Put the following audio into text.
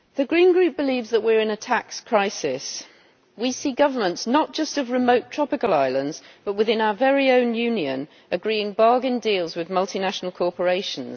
Madam President, the Green Group believes that we are in a tax crisis. We see governments not just of remote tropical islands, but within our very own Union agreeing bargain deals with multinational corporations.